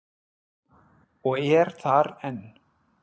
Og er þar enn.